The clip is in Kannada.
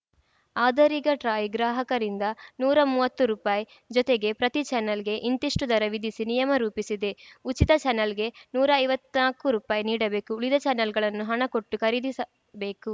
ಆದರೀಗ ಟ್ರಾಯ್‌ ಗ್ರಾಹಕರಿಂದ ನೂರಾ ಮೂವತ್ತು ರುಪಾಯಿ ಜೊತೆಗೆ ಪ್ರತಿ ಚಾನಲ್‌ಗೆ ಇಂತಿಷ್ಟುದರ ವಿಧಿಸಿ ನಿಯಮ ರೂಪಿಸಿದೆ ಉಚಿತ ಚಾನಲ್‌ಗೆ ನೂರಾ ಐವತ್ನಾಲ್ಕು ರುಪಾಯಿ ನೀಡಬೇಕು ಉಳಿದ ಚಾನಲ್‌ಗಳನ್ನು ಹಣ ಕೊಟ್ಟು ಖರೀದಿಸಬೇಕು